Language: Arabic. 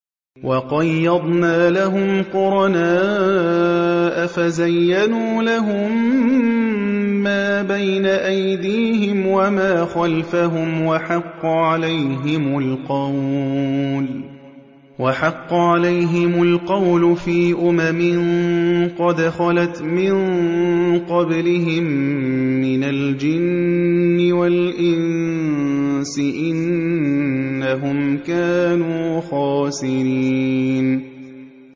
۞ وَقَيَّضْنَا لَهُمْ قُرَنَاءَ فَزَيَّنُوا لَهُم مَّا بَيْنَ أَيْدِيهِمْ وَمَا خَلْفَهُمْ وَحَقَّ عَلَيْهِمُ الْقَوْلُ فِي أُمَمٍ قَدْ خَلَتْ مِن قَبْلِهِم مِّنَ الْجِنِّ وَالْإِنسِ ۖ إِنَّهُمْ كَانُوا خَاسِرِينَ